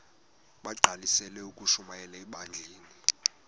bagqalisele ukushumayela ebandleni